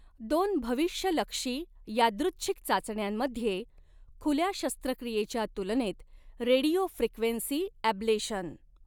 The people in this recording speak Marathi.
दोन भविष्यलक्षी यादृच्छिक चाचण्यांमध्ये खुल्या शस्त्रक्रियेच्या तुलनेत रेडिओफ्रिक्वेंसी ॲब्लेशन